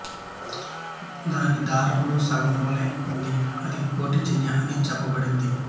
దాని దారం లో సగం వలె ఉంది అది కోటీ జ్య అని చెప్పబడింది